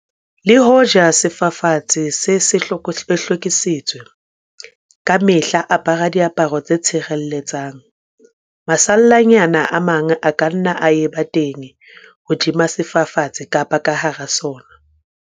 Le hoja sefafatsi se se se hlwekisitswe, ka mehla apara diaparo tse tshireletsang. Masallanyana a mang a ka nna a eba teng hodima sefafatsi kapa ka hara sona.